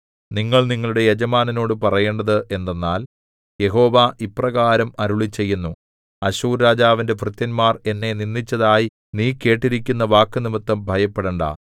നിങ്ങൾ നിങ്ങളുടെ യജമാനനോടു പറയേണ്ടത് എന്തെന്നാൽ യഹോവ ഇപ്രകാരം അരുളിച്ചെയ്യുന്നു അശ്ശൂർരാജാവിന്റെ ഭൃത്യന്മാർ എന്നെ നിന്ദിച്ചതായി നീ കേട്ടിരിക്കുന്ന വാക്കുനിമിത്തം ഭയപ്പെടണ്ടാ